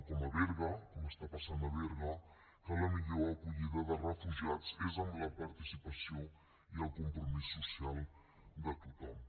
com a berga com està passant a berga que la millor acollida de refugiats és amb la participació i el compromís social de tothom